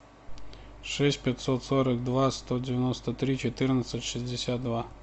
шесть пятьсот сорок два сто девяносто три четырнадцать шестьдесят два